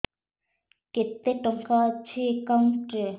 କେତେ ଟଙ୍କା ଅଛି ଏକାଉଣ୍ଟ୍ ରେ